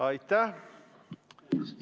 Aitäh!